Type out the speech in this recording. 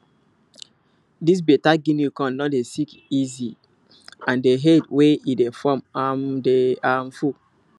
this better guinea corn no dey sick easy and the head wey e dey form um dey um full